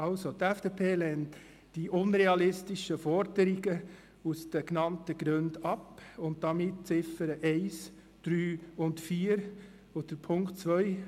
Also: Die FDP-Fraktion lehnt die unrealistische Forderungen aus den genannten Gründen ab und damit die Ziffern 1, 3 und 4. Punkt 2: